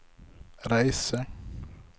reise